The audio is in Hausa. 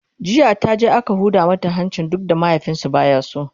jiya taje aka Huda mata hanci duk da mahaifinsu baya so